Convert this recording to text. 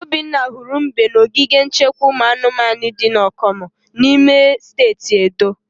Obinna hụrụ mbe na ogige nchekwa ụmụ anụmanu di na Okomu n'ime steeti Edo.